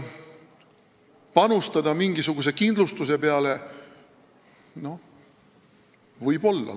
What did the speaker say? Panustada mingisuguse kindlustuse peale – noh, võib-olla.